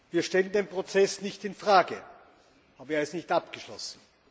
Wir stellen den Prozess nicht in Frage, aber er ist nicht abgeschlossen.